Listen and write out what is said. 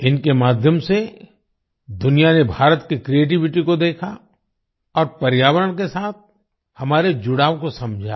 इनके माध्यम से दुनिया ने भारत की क्रिएटिविटी को देखा और पर्यावरण के साथ हमारे जुड़ाव को समझा